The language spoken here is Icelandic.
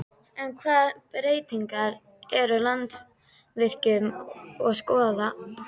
En hvaða breytingar er Landsvirkjun að skoða?